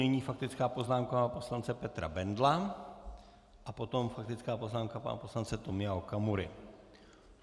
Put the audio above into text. Nyní faktická poznámka pana poslance Petra Bendla a potom faktická poznámka pana poslance Tomio Okamury.